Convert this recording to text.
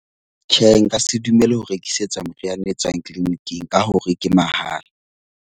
Tjhe, nka se dumele ho rekisetswa moriana e tswang clinic-ing ka hore ke mahala.